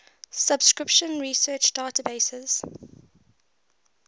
subscription research databases